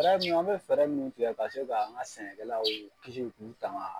Fɛɛrɛ min an be fɛɛrɛ min tigɛ ka se ka an ga sɛnɛkɛlaw kisi k'u tanga